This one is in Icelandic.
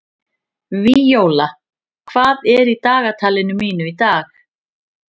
Víóla, hvað er í dagatalinu mínu í dag?